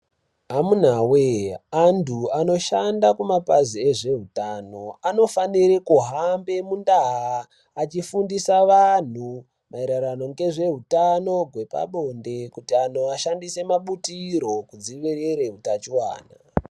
Amunawe andu anoshanda kumapazi ezveutano anofanira kuhamba mundaa achifundisa andu maererano ngezveutano hwepabonde kuti andu ashandise mabutiro kudzivirire hutachiona